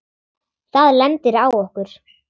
Það lendir á okkur.